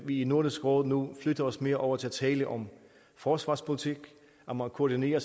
vi i nordisk råd nu flytter os mere over til at tale om forsvarspolitik om at koordinere